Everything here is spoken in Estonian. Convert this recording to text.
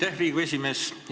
Aitäh, Riigikogu esimees!